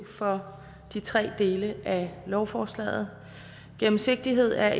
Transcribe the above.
for de tre dele af lovforslaget gennemsigtighed er